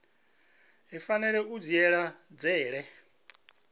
i fanela u dzhiela nzhele